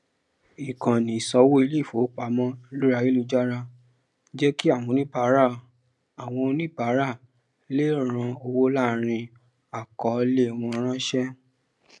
ìkànni ìsánwó iléifowopamọ lórí ayélujára jẹ kí àwọn oníbàárà àwọn oníbàárà lè rán owó láàrín àkọọlẹ wọn rọrùn